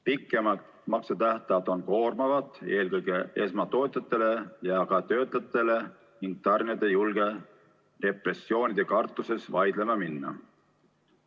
Pikemad maksetähtajad on koormavad eelkõige esmatootjatele ja töötajatele ning tarnijad ei julge repressioonide kartuses vaidlema minna.